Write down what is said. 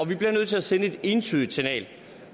vi bliver nødt til at sende et entydigt signal